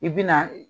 I bi na